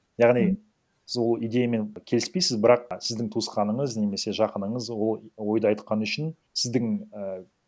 яғни сіз ол идеямен келіспейсіз бірақ сіздің туысқаныңыз немесе жақыныңыз ол ойды айтқаны үшін сіздің і